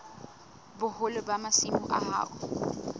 boholo ba masimo a hao